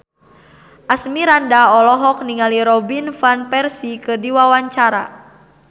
Asmirandah olohok ningali Robin Van Persie keur diwawancara